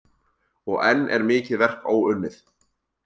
Og enn er mikið verk óunnið.